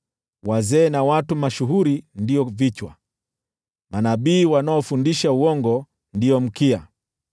Wazee na watu mashuhuri ndio vichwa, nao manabii wanaofundisha uongo ndio mkia.